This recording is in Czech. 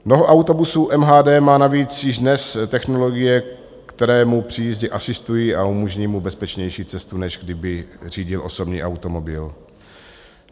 Mnoho autobusů MHD má navíc již dnes technologie, které mu při jízdě asistují a umožňují mu bezpečnější cestu, než kdyby řídil osobní automobil.